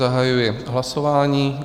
Zahajuji hlasování.